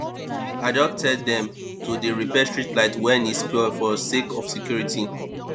i don tel dem to dey repair street light wen e spoil for sake of security